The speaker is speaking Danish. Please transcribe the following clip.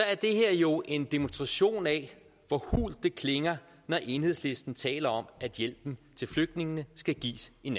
er det her jo en demonstration af hvor hult det klinger når enhedslisten taler om at hjælpen til flygtningene skal gives i